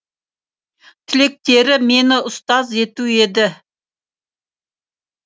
тілектері мені ұстаз ету еді